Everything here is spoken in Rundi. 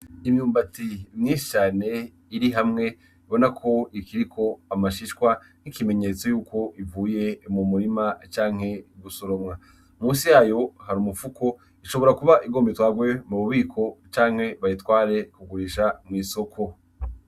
Imyumbati mwishane iri hamwe bona ko ikiriko amashishwa n'ikimenyetso yuko ivuye mu murima canke gusoromwa musi yayo hari umupfuko ishobora kuba igombitwagwe mu bubiko canke bayitware kugurisha mw'isoko.